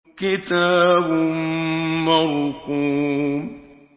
كِتَابٌ مَّرْقُومٌ